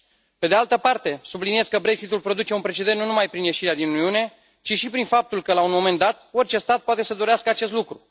Pe de altă parte, subliniez că Brexitul produce un precedent nu numai prin ieșirea din Uniune, ci și prin faptul că, la un moment dat, orice stat poate să dorească acest lucru.